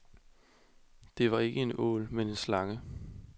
Det var ikke en ål, men en slange.